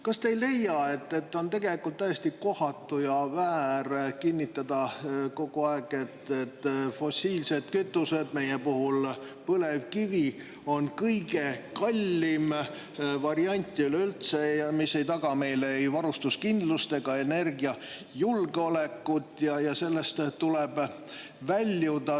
Kas te ei leia, et on tegelikult täiesti kohatu ja väär kinnitada kogu aeg, et fossiilsed kütused, meie puhul põlevkivi, on kõige kallim variant üleüldse ja mis ei taga meile ei varustuskindlust ega energiajulgeolekut ja sellest tuleb väljuda.